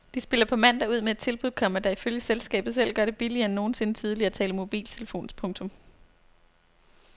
De spiller på mandag ud med et tilbud, komma der ifølge selskabet selv gør det billigere end nogensinde tidligere at tale i mobiltelefon. punktum